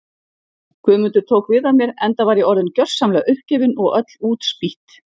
Guðmundur tók við af mér enda var ég orðin gjörsamlega uppgefin og öll útspýtt.